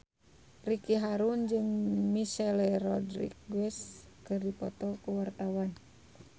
Ricky Harun jeung Michelle Rodriguez keur dipoto ku wartawan